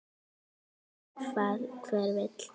Eftir því hvað hver vill.